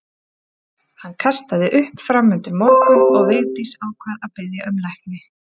Hann kastaði upp fram undir morgun og Vigdís ákvað að biðja um lækni.